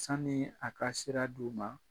Sanni a ka sira d'u ma